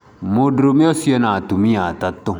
mũndũrũme ũcio ena atumia atatũ.